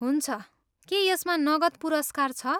हुन्छ, के यसमा नगद पुरस्कार छ?